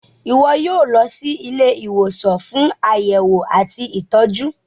iwọ yíò lọ sì Ilé ìwòsàn fún Àyẹwò àti ìtọjú.